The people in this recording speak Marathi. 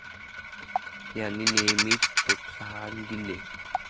यांनी नेहेमीच प्रोत्साहन दिले.